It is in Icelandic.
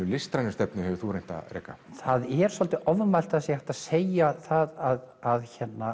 listrænu stefnu hefur þú reynt að reka það er svolítið ofmælt að það sé hægt að segja það að